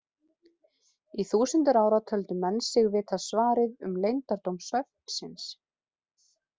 Í þúsundir ára töldu menn sig vita svarið um leyndardóm svefnsins.